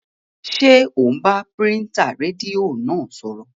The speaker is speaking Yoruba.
Ṣé ò ń bá pìrìsẹ́ńtà rédíò náà sọ̀rọ̀?